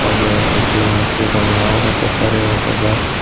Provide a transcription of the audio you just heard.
হবে ইতি আসবে রান্নাও হতে পারে অথবা।